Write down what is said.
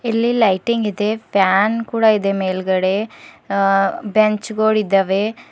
ಇಲ್ಲಿ ಲೈಟಿಂಗ್ ಇದೆ ಪ್ಯಾನ್ ಕೂಡ ಇದೆ ಮೇಲ್ಗಡೆ ಅ ಬೆಂಚ್ಗೋಳಿದವೆ.